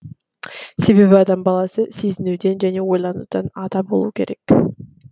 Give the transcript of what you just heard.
себебі адам баласы сезінуден және ойланудан ада болу керек